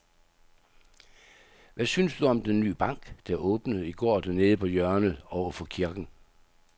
Hvad synes du om den nye bank, der åbnede i går dernede på hjørnet over for kirken?